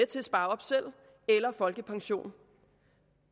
til at spare op til eller folkepension